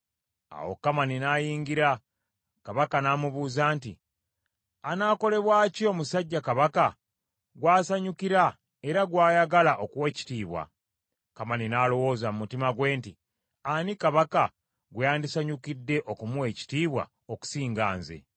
Awo Kamani n’ayingira, Kabaka n’amubuuza nti, “Anaakolebwa ki omusajja Kabaka gw’asanyukira era gw’ayagala okuwa ekitiibwa?” Kamani n’alowooza mu mutima gwe nti, “Ani Kabaka gwe yandisanyukidde okumuwa ekitiibwa okusinga nze?”